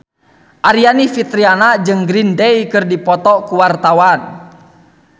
Aryani Fitriana jeung Green Day keur dipoto ku wartawan